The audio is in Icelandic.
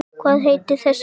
Hvað heitir þessi bær?